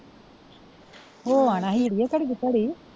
ਹੋ ਆਣਾ ਸੀ ਅੜੀਏ ਘੜੀ ਦੀ ਘੜੀ।